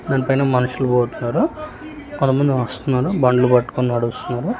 దాని పైన మనుషులు పోతున్నరు కొంతమంది వస్తున్నరు బండ్లు పట్టుకొని నడుస్తున్నరు.